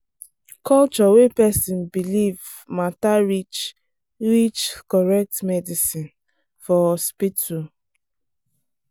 culture wey person believe matter reach reach correct medicine for hospital.